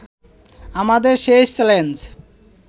আমাদের সেই চ্যালেঞ্জ